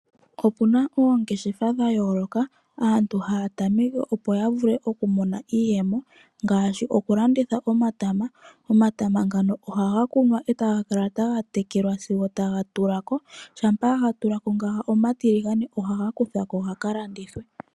Opuna oongeshefa dha yooloka aantu haa tameke opo yavule oku mona iiyemo ngaashi oku landitha omatama ngoka haga kunwa etaga tekelwa nasigo ga tulwako, naangoka ga tiligana ohaga kuthwako gaka landitwe .